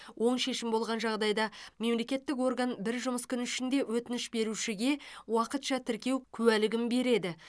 оң шешім болған жағдайда мемлекеттік орган бір жұмыс күні ішінде өтініш берушіге уақытша тіркеу куәлігін береді